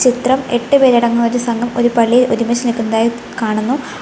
ചിത്രം എട്ടു പേരടങ്ങുന്ന ഒരു സംഘം ഒരു പള്ളിയിൽ ഒരുമിച്ച് നിക്കുന്നതായി കാണുന്നു.